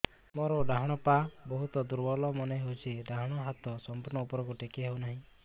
ମୋର ଡାହାଣ ପାଖ ବହୁତ ଦୁର୍ବଳ ମନେ ହେଉଛି ଡାହାଣ ହାତଟା ସମ୍ପୂର୍ଣ ଉପରକୁ ଟେକି ହେଉନାହିଁ